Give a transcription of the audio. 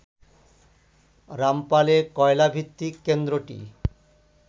রামপালে কয়লা ভিত্তিক কেন্দ্রটি